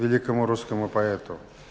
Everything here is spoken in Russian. великому русскому поэту